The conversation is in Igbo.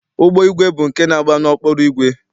Ụgbọigwe bụ nke na-agba n'ọkpụrụ igwe.